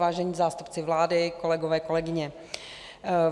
Vážení zástupci vlády, kolegové, kolegyně.